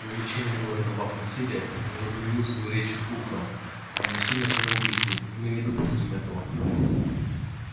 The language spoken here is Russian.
вовлечение города в акт насилия возобновил свою речь фулхам равносильно самоубийству и мы не допустим этого